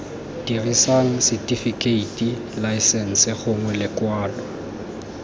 dirisang setifikeiti laesense gongwe lekwalo